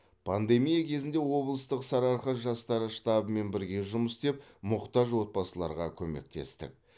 пандемия кезінде облыстық сарыарқа жастары штабымен бірге жұмыс істеп мұқтаж отбасыларға көмектестік